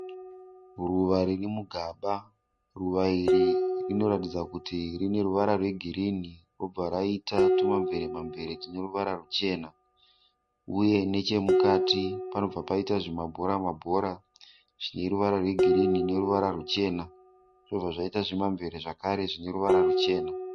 Ruva riri mugaba. Ruva iri rinoratidza kuti rine ruvara rwe girinhi robva raita tuma mveremamvere tune ruvara ruchena . Uye nechemukati panobva paita zvima bhora mabhora zvine ruvara rwe girinhi neruvara ruchena. Zvobva zvaita zvimamvere zvekare zvine ruvara ruchena.